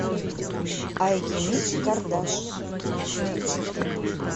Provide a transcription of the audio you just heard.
айгимик кардаш